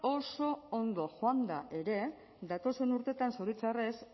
oso ondo joanda ere datozen urteetan zoritxarrez